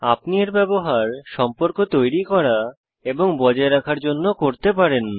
আপনি এর ব্যবহার সম্পর্ক তৈরি করা এবং বজায় রাখার জন্য করতে পারেন